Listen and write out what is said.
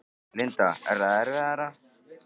Linda: Er það erfiðara?